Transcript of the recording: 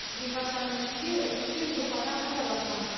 екі аптаның ішінде үш жүзге жуық адам хабарласқан